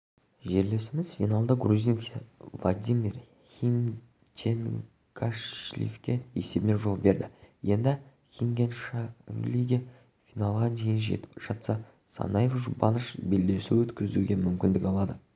жерлесіміз финалда грузин владимир хинчегашвилиге есебімен жол берді енді хинчегашвили финалға дейін жетіп жатса санаев жұбаныш белдесу өткізуге мүмкіндік алады